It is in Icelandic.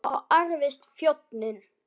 Þá ærðist þjóðin.